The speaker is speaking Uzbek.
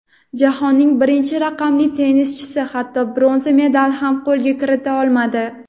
Jahonning birinchi raqamli tennischisi hatto bronza medal ham qo‘lga kirita olmadi.